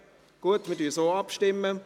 – Gut, wir stimmen so ab.